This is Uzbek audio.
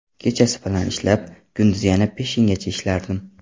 Kechasi bilan ishlab, kunduzi yana peshingacha ishlardim.